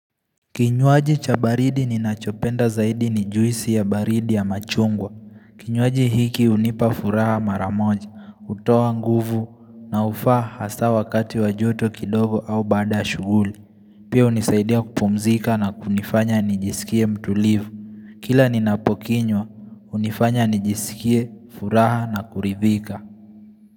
Kinywaji cha baridi ninachopenda zaidi ni juisi ya baridi ya machungwa. Kinywaji hiki unipa furaha mara moja, utowa nguvu na ufaa hasa wakati wa joto kidogo au baada shughuli. Pia unisaidia kupumzika na kunifanya nijisikie mtulivu. Kila ninapokinywa, unifanya nijisikie, furaha na kuridhika.